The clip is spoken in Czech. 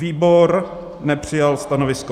Výbor nepřijal stanovisko.